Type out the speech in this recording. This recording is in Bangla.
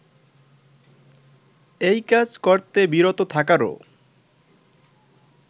এই কাজ করতে বিরত থাকারও